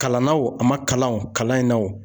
Kalan na wo a ma kalan o kalan in na wo.